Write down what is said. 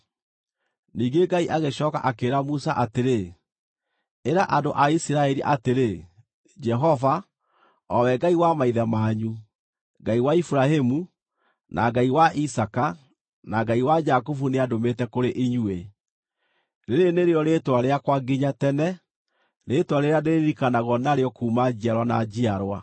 Ningĩ Ngai agĩcooka akĩĩra Musa atĩrĩ, “Ĩra andũ a Isiraeli atĩrĩ, ‘Jehova, o we Ngai wa maithe manyu, Ngai wa Iburahĩmu, na Ngai wa Isaaka na Ngai wa Jakubu nĩandũmĩte kũrĩ inyuĩ.’ Rĩĩrĩ nĩrĩo rĩĩtwa rĩakwa nginya tene, rĩĩtwa rĩrĩa ndĩĩririkanagwo narĩo kuuma njiarwa na njiarwa.